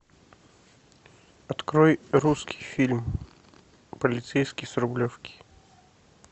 открой русский фильм полицейский с рублевки